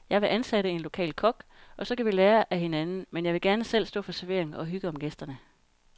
Jeg vil ansætte en lokal kok, og så kan vi lære af hinanden, men jeg vil gerne selv stå for servering og hygge om gæsterne.